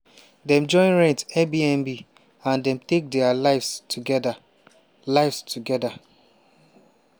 dem join rent airbnb and den take dia lives togeda. lives togeda.